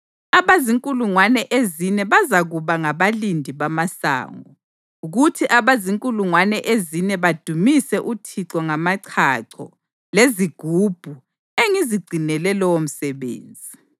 Abazinkulungwane ezine bazakuba ngabalindi bamasango kuthi abazinkulungwane ezine badumise uThixo ngamachacho lezigubhu engizigcinele lowomsebenzi.”